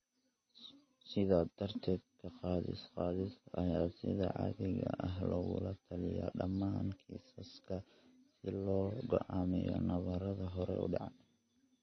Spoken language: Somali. Sidaa darteed, ka-qaadis-qaadis ayaa sida caadiga ah lagula taliyaa dhammaan kiisaska si loo go'aamiyo nabarrada hore u dhaca.